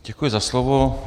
Děkuji za slovo.